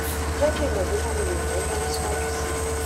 jé kí n mọ bóyá mo lè ràn é lọwọ síwájú sí i